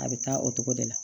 A bɛ taa o togo de la